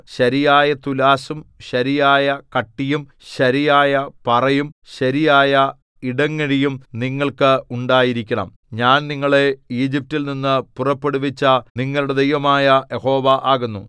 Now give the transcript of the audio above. ശരിയായ തുലാസ്സും ശരിയായ കട്ടിയും ശരിയായ പറയും ശരിയായ ഇടങ്ങഴിയും നിങ്ങൾക്ക് ഉണ്ടായിരിക്കണം ഞാൻ നിങ്ങളെ ഈജിപ്റ്റിൽനിന്നു പുറപ്പെടുവിച്ച നിങ്ങളുടെ ദൈവമായ യഹോവ ആകുന്നു